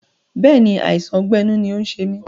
Bẹ́ẹ̀ni, àìsàn ọgbẹ́ inú ni ó ń ṣe mí